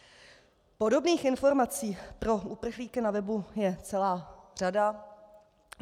Podobných informací pro uprchlíky na webu je celá řada.